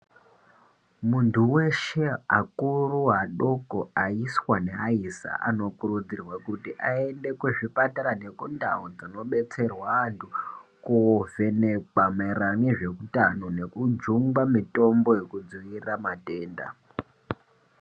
Muntu weshe akuru adoko aiswa neaisa anokurudzirwa kuti muntu aende kuzvipatara nekundau dzinodetserwa anhu kuvhenekwa maererano nezveutano nekujungwa mitombo yekudziirira matenda.